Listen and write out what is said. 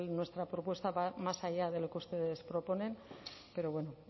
nuestra propuesta va más allá de lo que ustedes proponen pero bueno